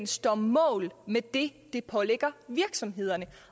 står mål med det som det pålægger virksomhederne